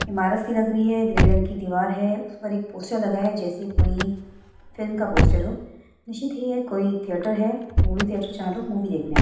इमारत सी लग रही है ग्रे रंग की दीवार है उस पर एक पोस्टर लगाया जैसे कोई फिल्म का पोस्टर हो निश्चित ही यह कोई थिएटर है मूवी थिएटर जहां पर लोग मूवी देखने आते--